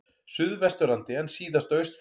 Suðvesturlandi en síðast á Austfjörðum.